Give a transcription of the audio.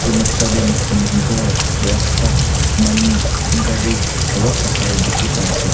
du noksa dey mokhan ghor rasta manu ghari aro pahar dikhi pai ase.